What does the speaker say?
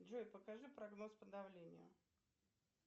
джой покажи прогноз по давлению